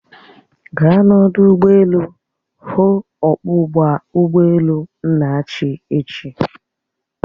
Gaa n'odu ụgbọelu hụụ ọkpọ ụgbọelu Nnachi echi!